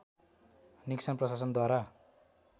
Nixon प्रशासनद्वारा